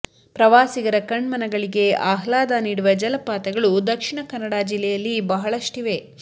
ಪ್ರವಾಸಿಗರ ಕಣ್ಮನಗಳಿಗೆ ಆಹ್ಲಾದ ನೀಡುವ ಜಲಪಾತಗಳು ದಕ್ಷಿಣ ಕನ್ನಡ ಜಿಲ್ಲೆಯಲ್ಲಿ ಬಹಳಷ್ಟಿವೆ